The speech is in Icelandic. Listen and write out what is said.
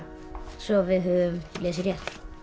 svo við höfum lesið rétt